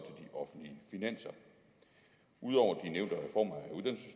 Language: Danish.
de offentlige finanser ud over de nævnte reformer